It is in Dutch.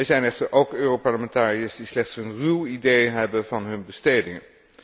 Er zijn echter ook Europarlementariërs die slechts een ruw idee hebben van hun bestedingen.